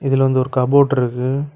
இதுல வந்து ஒரு கப்போர்ட் இருக்கு.